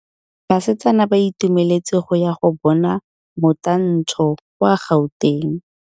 Basetsana ba itumeletse go ya go bona motantshô kwa Gauteng.